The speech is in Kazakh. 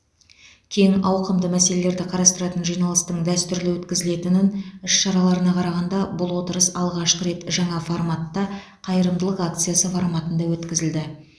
кең ауқымды мәселелерді қарастыратын жиналыстың дәстүрлі өткізілетінін іс шараларына қарағанда бұл отырыс алғашқы рет жаңа форматта қайырымдылық акциясы форматында өткізілді